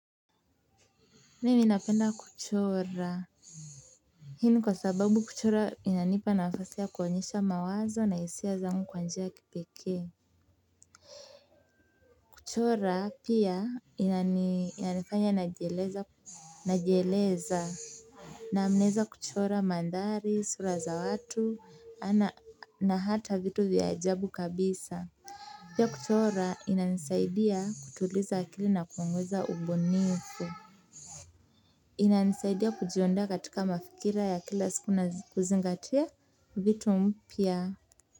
Mimi ninapenda kuchora. Hii ni kwa sababu kuchora inanipa nafasi kuonyesha mawazo na hisia zangu kwa njia ya kipeke. Kuchora pia inanifanya najieleza. Naam, naweza kuchora mandhari sura za watu na hata vitu vya ajabu kabisa. Pia kuchora inanisaidia kutuliza akili na kuongeza ubunifu inanisaidia kujiondoa katika mafikira ya kila siku na kuzingatia vitu mpya.